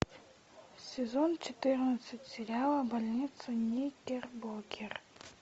сезон четырнадцать сериала больница никербокер